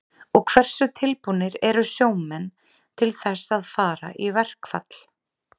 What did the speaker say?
Og hversu tilbúnir eru sjómenn til þess að fara í verkfall?